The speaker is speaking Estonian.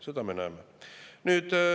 Seda me näeme.